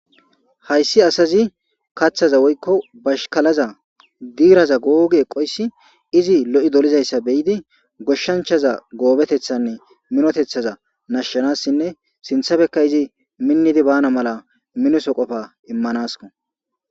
Hayssi asazi kaththaza woykko bashkalaza diiraza googi eqoyssi izi lo'i dolizayssa beyidi goshshanchaza goobetethanne minotethaza nashshanassinne sinthabekka izi minnidi bana mala minoso qofa immanasko.